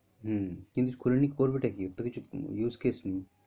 হম কিন্তু খুলে নিয়ে করবে টা কি ওর তো কিছু use case নেই।